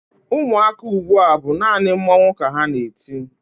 Ụmụaka ugbua bụ naanị mmọnwụ ka ha na-eti.